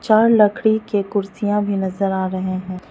चार लकड़ी के कुर्सियां भी नजर आ रहे है।